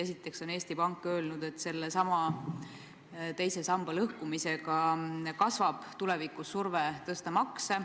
Esiteks on Eesti Pank öelnud, et teise samba lõhkumisega kasvab tulevikus surve suurendada makse.